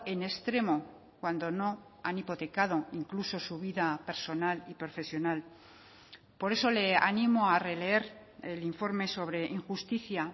en extremo cuando no han hipotecado incluso su vida personal y profesional por eso le animo a releer el informe sobre injusticia